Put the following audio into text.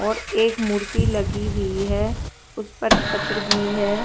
और एक मूर्ति लगी हुई है उसपर छत्र भी है।